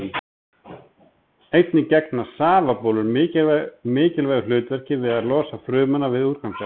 Einnig gegna safabólur mikilvægu hlutverki við að losa frumuna við úrgangsefni.